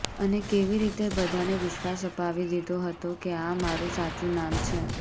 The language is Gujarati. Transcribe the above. અને કેવી રીતે બધાને વિશ્વાસ અપાવી દીધો હતો કે આ મારૂ સાચુ નામ છે